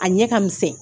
A ɲɛ ka misɛn